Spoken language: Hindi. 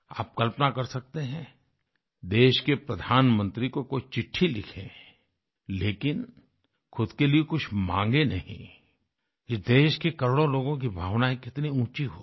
आप कल्पना कर सकते हैं देश के प्रधानमंत्री को कोई चिट्ठी लिखे लेकिन ख़ुद के लिए कुछ मांगे नहीं ये देश के करोड़ों लोगों की भावना कितनी ऊँची होगी